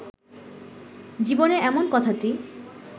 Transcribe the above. জীবনে এমন কথাটি